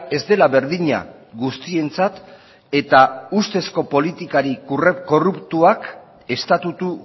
ez dela berdina guztientzat eta ustezko politikari korruptuak estatutu